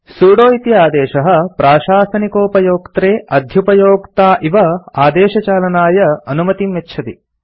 sudo इति आदेशः प्राशासनिकोपयोक्त्रे अध्युपयोक्ता इव आदेशचालनाय अनुमतिं यच्छति